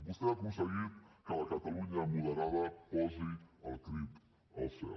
vostè ha aconseguit que la catalunya moderada posi el crit al cel